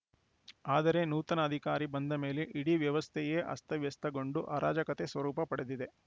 ಆದರೆ ನೂತನ ಅಧಿಕಾರಿ ಬಂದ ಮೇಲೆ ಇಡೀ ವ್ಯವಸ್ಥೆಯೇ ಅಸ್ತವ್ಯಸ್ತಗೊಂಡು ಅರಾಜಕತೆಯ ಸ್ವರೂಪ ಪಡೆದಿದೆ